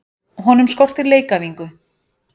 Honum skortir leikæfingu.